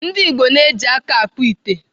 Ndigbo na-eji aka akpụ ite.